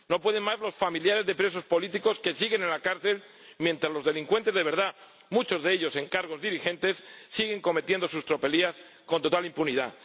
No pueden más los familiares de presos políticos que siguen en la cárcel mientras los delincuentes de verdad, muchos de ellos en cargos dirigentes, siguen cometiendo sus tropelías con total impunidad.